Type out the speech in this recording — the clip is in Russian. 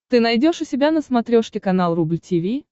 ты найдешь у себя на смотрешке канал рубль ти ви